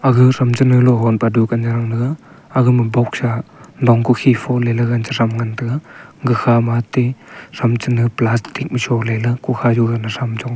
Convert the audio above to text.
aga thram chane logan pa dukan thanga taiga agama boxa long kokhi foleley chethram ngan taiga gakha matey thram chane plastic ma sholeley kukha jogana cham chong taiga.